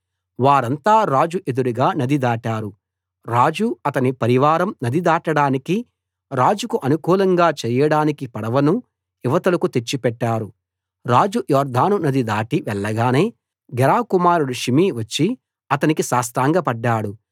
వారంతా రాజు ఎదురుగా నది దాటారు రాజు అతని పరివారం నది దాటడానికి రాజుకు అనుకూలంగా చేయడానికి పడవను ఇవతలకు తెచ్చి పెట్టారు రాజు యొర్దాను నది దాటి వెళ్ళగానే గెరా కుమారుడు షిమీ వచ్చి అతనికి సాష్టాంగపడ్డాడు